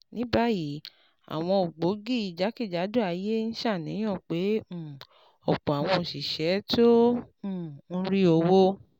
Ní báyìí, àwọn ògbógi jákèjádò ayé ń ṣàníyàn pé um ọ̀pọ̀ àwọn òṣìṣẹ́ tó um ń rí owó